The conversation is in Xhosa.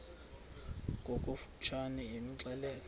ngokofu tshane imxelele